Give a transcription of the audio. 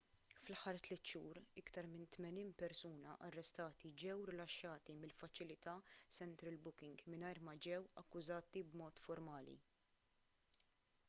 fl-aħħar 3 xhur iktar minn 80 persuna arrestati ġew rilaxxati mill-faċilità central booking mingħajr ma ġew akkużati b'mod formali